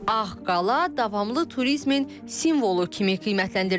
Ağqala davamlı turizmin simvolu kimi qiymətləndirilir.